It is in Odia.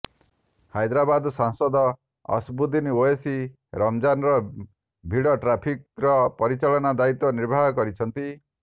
ହାଇଦ୍ରାବାଦ ସାଂସଦ ଅସଦ୍ଦୁଦ୍ଦିନ ଓଓ୍ବେସୀ ରମ୍ଜାନର ଭିଡ ଟ୍ରାଫିକ୍ର ପରିଚାଳନା ଦାୟିତ୍ବ ନିର୍ବାହ କରିଛନ୍ତି